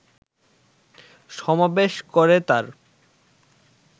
সমাবেশ করে তার